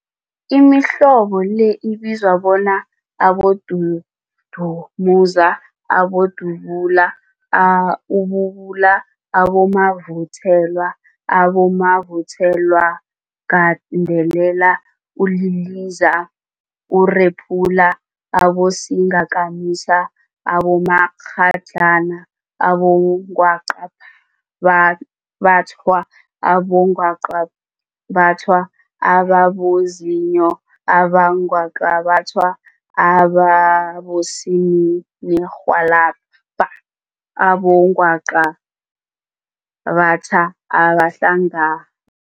Imihlobo le ibizwa bona, Abodudumuza, Abodubula, ububula, abomavuthelwa, abomavuthelwagandelela, uliliza, urephula, abosingakamisa, abomakghadlana, abongwaqabathwa, abongwaqabathwa ababozinyo, abongwaqabathwa abosininirhwalabha nabongwaqabatha abahlanga